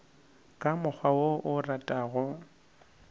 ka mokgwa wo o ratago